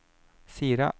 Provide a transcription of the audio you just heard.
Sira